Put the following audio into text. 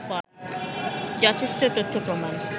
যথেষ্ট তথ্য-প্রমাণ